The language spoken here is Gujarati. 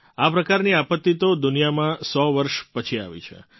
આ પ્રકારની આપત્તિ તો દુનિયામાં સો વર્ષ પછી આવી છે